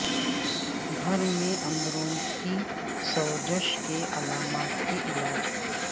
گھر میں اندروں کی سوزش کے علامات کے علاج